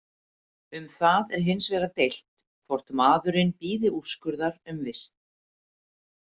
Um það er hins vegar deilt hvort maðurinn bíði úrskurðar um vist.